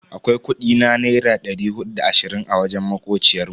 Akwai kudi na naira dari hudu da da ashirin a wajen makociyar mu.